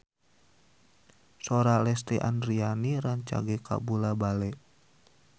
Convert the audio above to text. Sora Lesti Andryani rancage kabula-bale